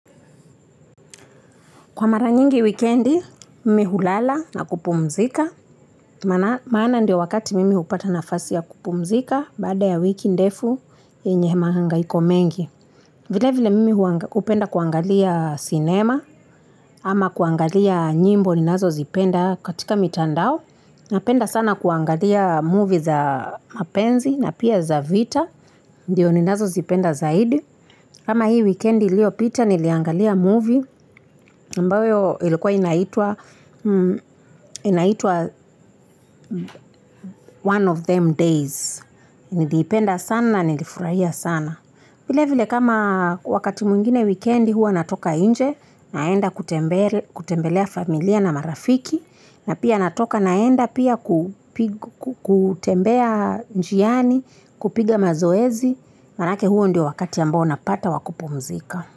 Kwa mara nyingi wikendi, mmi hulala na kupumzika. Maana ndio wakati mimi upata nafasi ya kupumzika, baada ya wiki ndefu, yenye mahangaiko mengi. Vile vile mimi upenda kuangalia cinema, ama kuangalia nyimbo ninazozipenda katika mitandao. Napenda sana kuangalia movie za mapenzi na pia za vita, ndio ninazo zipenda zaidi. Kama hii wikendi iliopita niliangalia movie, ambayo ilikuwa inaitwa One of Them Days. Niliipenda sana, nilifurahia sana. Vile vile kama wakati mwingine wikendi huwa natoka inje, naenda kutembelea familia na marafiki, na pia natoka naenda pia kutembea njiani, kupiga mazoezi, manake huo ndio wakati ambao napata wa kupumzika.